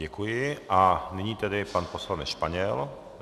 Děkuji a nyní tedy pan poslanec Španěl.